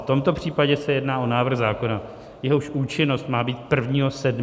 V tomto případě se jedná o návrh zákona, jehož účinnost má být 1. 7. příštího roku.